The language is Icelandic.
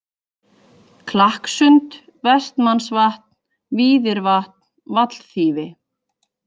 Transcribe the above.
Klakkssund, Vestmannsvatn, Víðirvatn, Vallþýfi